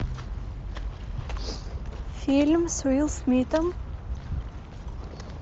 фильм с уилл смитом